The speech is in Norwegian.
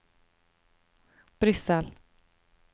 Brussel